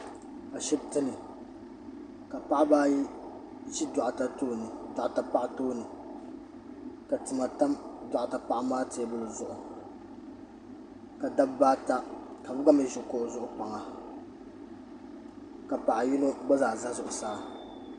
Ashibiti ni ka paɣiba ayi ʒi doɣita paɣa tooni ka tima tam doɣita paɣa maa teebuli zuɣu ka dabba ata ka bɛ gba mi ʒi kpaŋa ka paɣa yino gba zaa za zuɣusaa.